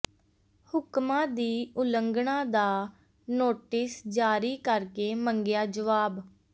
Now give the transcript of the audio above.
ਹੁਕਮਾਂ ਦੀ ਉਲੰਘਣਾ ਦਾ ਨੋਟਿਸ ਜਾਰੀ ਕਰਕੇ ਮੰਗਿਆ ਜਵਾਬ